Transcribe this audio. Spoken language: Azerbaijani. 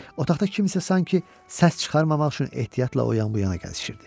Otaqda kimsə sanki səs çıxarmamaq üçün ehtiyatla o yan-bu yana gəzişirdi.